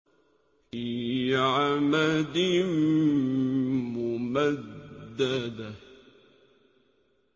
فِي عَمَدٍ مُّمَدَّدَةٍ